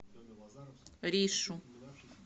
ришу